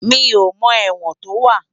Mi ó mò èwòn tó wá